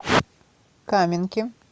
каменки